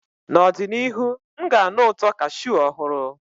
N'ọdịnihu, m ga-anụ ụtọ cashew ọhụrụ.